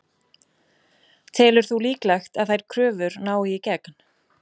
Telur þú líklegt að þær kröfur nái í gegn?